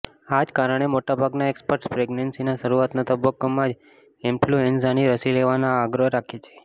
આ જ કારણે મોટાભાગના એક્સપર્ટ્સ પ્રેગનેન્સીના શરુઆતના તબક્કામાં જ ઈન્ફ્લુએન્ઝાની રસી લેવાનો આગ્રહ કરે છે